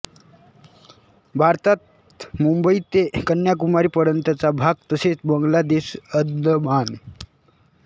भारतात मुंबई ते कन्याकुमारीपर्यंतचा भाग तसेच बंगला देश अंदमान